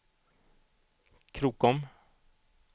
Krokom